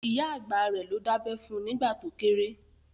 Ìyá àgbà rẹ̀ ló dábẹ́ fun nìgbà to kéré